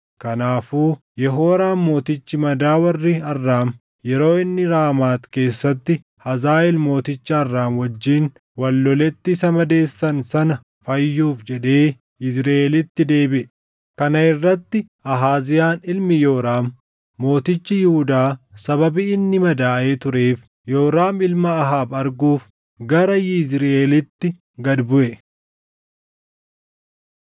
kanaafuu Yehooraam mootichi madaa warri Arraam yeroo inni Raamaat keessatti Hazaaʼeel mooticha Arraam wajjin wal loletti isa madeessan sana fayyuuf jedhee Yizriʼeelitti deebiʼe. Kana irratti Ahaaziyaan ilmi Yooraam mootichi Yihuudaa sababii inni madaaʼee tureef Yooraam ilma Ahaab arguuf gara Yizriʼeelitti gad buʼe.